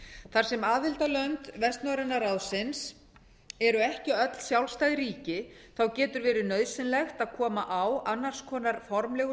þar sem aðildarlönd vestnorræna ráðsins eru ekki öll sjálfstæð ríki þá getur verið nauðsynlegt að koma á annars konar formlegu